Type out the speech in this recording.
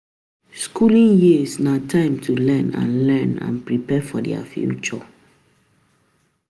Skooling years na time to learn and learn and prepare for di future.